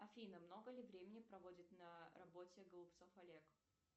афина много ли времени проводит на работе голубцов олег